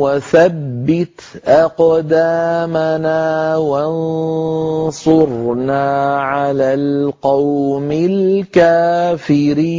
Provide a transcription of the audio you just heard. وَثَبِّتْ أَقْدَامَنَا وَانصُرْنَا عَلَى الْقَوْمِ الْكَافِرِينَ